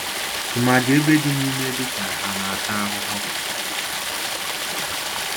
Tụmadi ebe dị n'ime dị ka ha ana-ata ahụhụ